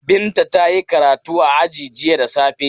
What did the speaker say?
Binta ta yi karatu a aji jiya da safe.